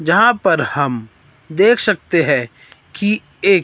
यहां पर हम देख सकते हैं कि एक--